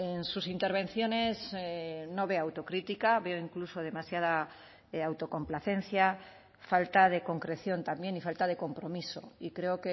en sus intervenciones no veo autocrítica veo incluso demasiada autocomplacencia falta de concreción también y falta de compromiso y creo